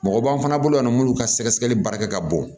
Mɔgɔ b'an fana bolo yan nɔ munnu ka sɛgɛsɛgɛli baarakɛ ka bon